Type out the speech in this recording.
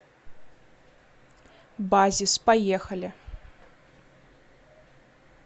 базис поехали